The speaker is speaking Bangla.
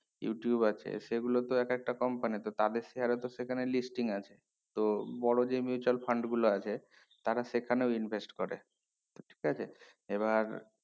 youtube আছে সেই গুলো তো এক একটা company তো তাদের share ও তো সেখানে listing আছে তো বড়ো যেই mutual fund গুলো আছে তারা সেখানেও invest করে তো ঠিক আছে এবার